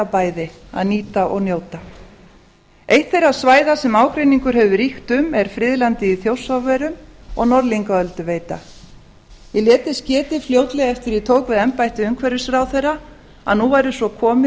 bæði að nýta og njóta eitt þeirra svæða sem ágreiningur hefur ríkt um er friðlandið í þjórsárverum og norðlingaölduveita ég lét þess getið fljótlega eftir að ég tók við embætti umhverfisráðherra að nú væri svo komið